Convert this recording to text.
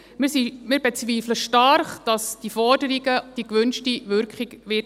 Wir bezweifeln stark, dass diese Forderungen die gewünschte Wirkung haben werden.